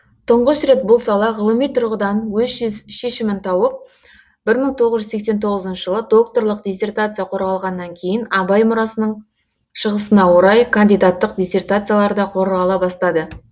тұңғыш рет бұл сала ғылыми тұрғыдан өз шешімін тауып бір мың тоғыз жүз сексен тоғызыншы жылы докторлық диссертация қорғалғаннан кейін абай мұрасының шығысына орай кандидаттық диссертациялар да қорғала бастады